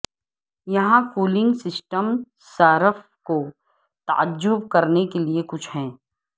یہاں cooling system صارف کو تعجب کرنے کے لئے کچھ ہے